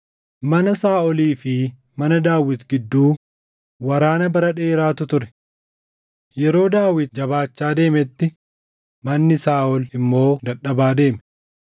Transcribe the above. Mana Saaʼolii fi mana Daawit gidduu waraana bara dheeraatu ture. Yeroo Daawit jabaachaa deemetti manni Saaʼol immoo dadhabaa deeme.